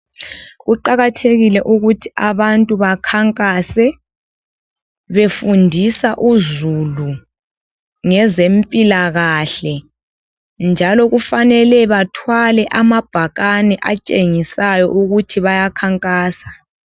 Kuqakathekile ukuthi abantu bakhankase befundisa uzulu ngeze mpilakahle njalo kufanele bathwale amabhakani atshengisayo ukuthi baya khankasa.